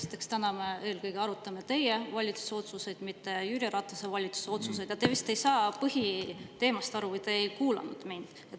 Esiteks, täna me eelkõige arutame teie valitsuse otsuseid, mitte Jüri Ratase valitsuse otsuseid, ja te vist ei saa põhiteemast aru või te ei kuulanud mind.